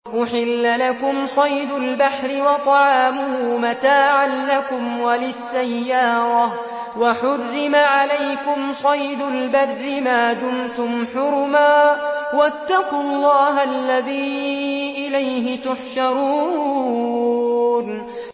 أُحِلَّ لَكُمْ صَيْدُ الْبَحْرِ وَطَعَامُهُ مَتَاعًا لَّكُمْ وَلِلسَّيَّارَةِ ۖ وَحُرِّمَ عَلَيْكُمْ صَيْدُ الْبَرِّ مَا دُمْتُمْ حُرُمًا ۗ وَاتَّقُوا اللَّهَ الَّذِي إِلَيْهِ تُحْشَرُونَ